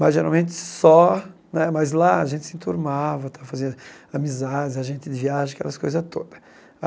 Mas, geralmente, só né mas lá a gente se enturmava tal, fazia amizades, a gente viaja, aquelas coisa toda.